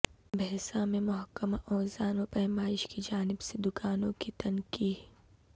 بھینسہ میں محکمہ اوزان و پیمائش کی جانب سے دکانوں کی تنقیح